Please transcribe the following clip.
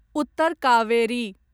Uttar Kaveri